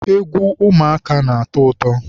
egwu ụmụaka na-atọ ụtọ.